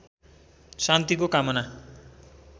शान्तिको कामना